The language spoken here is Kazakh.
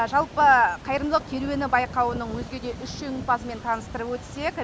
жалпы қайырымдылық керуені байқауының өзге де үш жеңімпазымен таныстырып өтсек